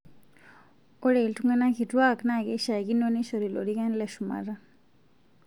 Ore iltung'ana kituak naa keishakino neishori lorikan le shumata